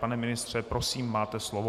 Pane ministře, prosím, máte slovo.